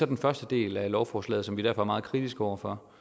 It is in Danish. den første del af lovforslaget som vi derfor er meget kritiske over for